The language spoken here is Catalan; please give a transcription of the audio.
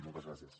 moltes gràcies